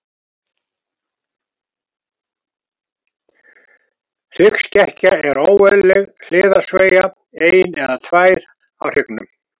Hryggskekkja er óeðlileg hliðarsveigja, ein eða tvær, á hryggnum.